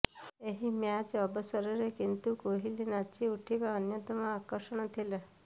ଏହି ମ୍ୟାଚ୍ ଅବସରରେ କିନ୍ତୁ କୋହଲି ନାଚି ଉଠିବା ଅନ୍ୟତମ ଆକର୍ଷଣ ଥିଲା